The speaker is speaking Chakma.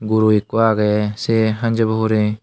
guro eko aagey sei hanjaba hurey.